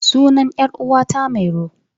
Sunan 'yar uwata mairo.